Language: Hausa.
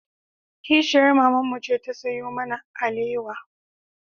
Kishiyar mamanmu ce ta sayo mana alewa